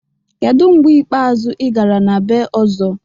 Kedu mgbe ikpeazụ ị gara na bee Ọzọ?